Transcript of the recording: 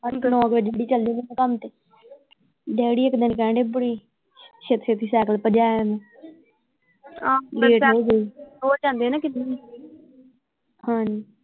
ਨੋ ਵਜੇ ਡਿਊਟੀ ਚਲ ਜਾਂਦੇ ਕੰਮ ਤੇ ਡੈਡੀ ਇੱਕ ਦਿਨ ਕਹਿਣ ਦੇ ਬੜੀ ਛੇਤੀ ਛੇਤੀ ਸਾਈਕਲ ਭਜਾਇਆ ਮੈਂ ਲੇਟ ਹੋਗਏ ਹੀ ਰੋਜ਼ ਜਾਂਦੇ ਆ ਨਾ ਹਾਂ।